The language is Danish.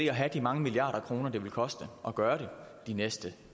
at have de mange milliarder kroner det vil koste at gøre det de næste